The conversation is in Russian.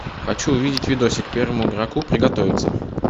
хочу увидеть видосик первому игроку приготовиться